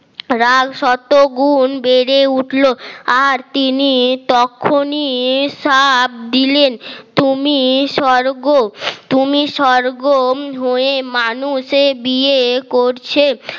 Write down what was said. রাগ শত গুন বেড়ে উঠল আর তিনি তখনই শ্রফ দিলেন তুমি স্বর্গ তুমি স্বর্গম হয়ে মানুষের বিয়ে করছে